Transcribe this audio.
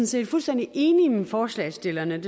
set fuldstændig enige med forslagsstillerne